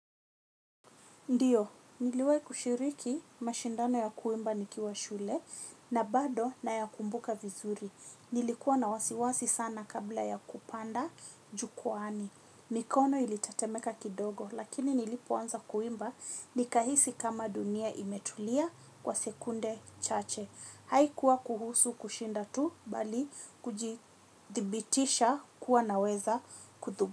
Ndiyo, niliwahi kushiriki mashindano ya kuimba nikiwa shule na bado nayakumbuka vizuri. Nilikuwa na wasiwasi sana kabla ya kupanda jukwaani. Mikono ilitetemeka kidogo, lakini nilipoanza kuimba, nikahisi kama dunia imetulia kwa sekunde chache. Haikuwa kuhusu kushinda tu, bali kujithibitisha kuwa naweza kutumbuiza.